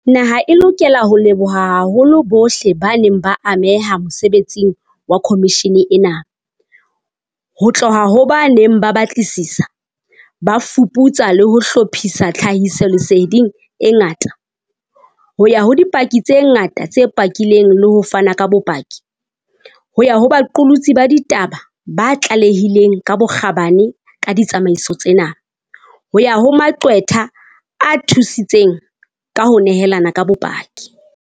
Naha e lokela ho leboha haholo bohle ba neng ba ameha mosebetsing wa khomishene ena, ho tloha ho ba neng ba batlisisa, ba fuputsa le ho hlophisa tlha hisoleseding e ngata, ho ya ho dipaki tse ngata tse pakileng le ho fana ka bopaki, ho ya ho baqolotsi ba ditaba ba tlalehileng ka bokgabane ka ditsamaiso tsena, ho ya ho maqwetha a thusitseng ka ho nehelana ka bopaki.